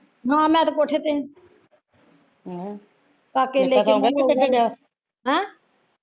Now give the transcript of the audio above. ਹਾਂ ਮੈਂ ਤੇ ਕੋਠੇ ਤੇ ਆ ਹੈਂ